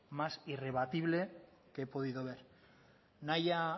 más irrebatible que he podido ver nahia